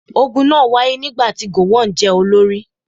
Ogun náà wáyé nígbà tí gowon jẹ́ olórí.